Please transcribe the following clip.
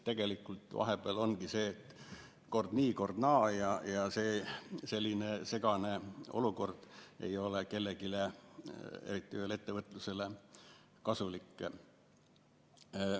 Tegelikult see ongi kord nii, kord naa, ja see selline segane olukord ei ole kellelegi, eriti veel ettevõtlusele kasulik.